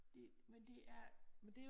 Det men det er